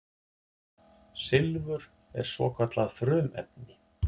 Silfur er svokallað frumefni.